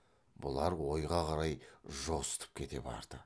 бұлар ойға қарай жосытып кете барды